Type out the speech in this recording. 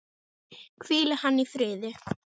Hvíli hann í friði!